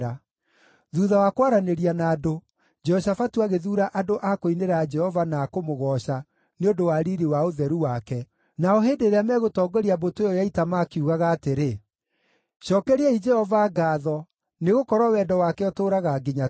Thuutha wa kwaranĩria na andũ, Jehoshafatu agĩthuura andũ a kũinĩra Jehova na a kũmũgooca nĩ ũndũ wa riiri wa ũtheru wake, nao hĩndĩ ĩrĩa megũtongoria mbũtũ ĩyo ya ita, makiugaga atĩrĩ: “Cookeriai Jehova ngaatho, nĩgũkorwo wendo wake ũtũũraga nginya tene.”